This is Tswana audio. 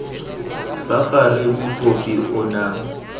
fa gare mokopi o na